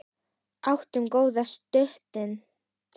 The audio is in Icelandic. Áttum við góðar stundir saman.